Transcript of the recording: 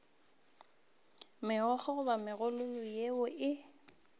megokgo goba megololo yeo e